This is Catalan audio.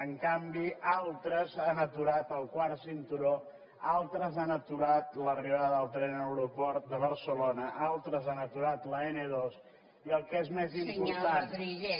en canvi altres han aturat el quart cinturó altres han atu·rat l’arribada del tren a l’aeroport de barcelona altres han aturat l’n·ii i el que és més important